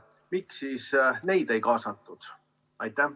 Miks siis neid ei kaasatud?